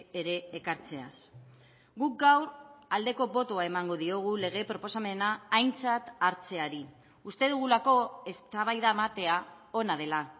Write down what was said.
ere ekartzeaz guk gaur aldeko botoa emango diogu lege proposamena aintzat hartzeari uste dugulako eztabaida ematea ona dela